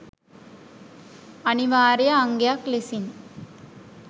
අනිවාර්ය අංගයක් ලෙසින්